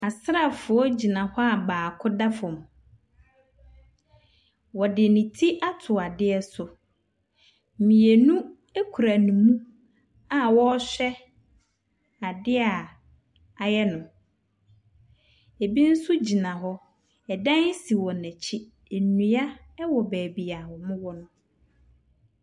Asraafoɔ ɛgyina hɔ a baako da fam. Wɔde ne ti ato adeɛ so. Mmienu ɛkura ne mu a wɔɔhwɛ adeɛ a ayɛ no. Ɛbi nso gyina hɔ. Ɛdan si wɔn n'akyi. Nnua ɛwɔ baabi a ɔmo wɔ no.